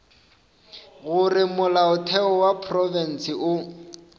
gore molaotheo wa profense o